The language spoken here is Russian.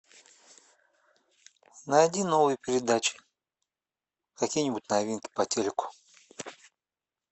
найди новые передачи какие нибудь новинки по телеку